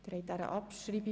Abstimmung (Abschreibung)